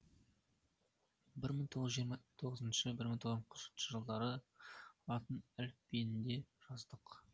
бір мың тоғыз жүз жиырма тоғызыншы бір мың тоғыз жүз қырықыншы жылдары латын әліпбиінде жаздық